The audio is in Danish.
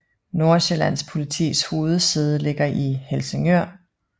Nordsjællands Politis hovedsæde ligger i Helsingør